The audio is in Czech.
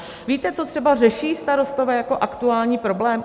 Víte, co třeba řeší starostové jako aktuální problém?